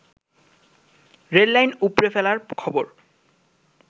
rail line উপড়ে ফেলার খবর